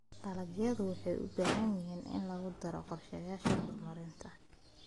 Dalagyadu waxay u baahan yihiin in lagu daro qorshayaasha horumarinta.